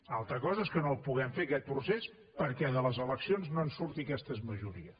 altra cosa és que no el puguem fer aquest procés perquè de les eleccions no en surti aquesta majoria